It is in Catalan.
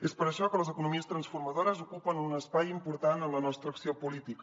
és per això que les economies transformadores ocupen un espai important en la nostra acció política